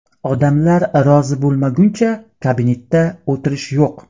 Odamlar rozi bo‘lmaguncha kabinetda o‘tirish yo‘q!